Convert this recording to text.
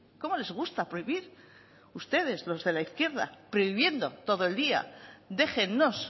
cómo les gusta prohibir ustedes los de la izquierda prohibiendo todo el día déjennos